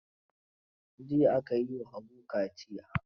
Jiya aka yi wa Habibu kaciya.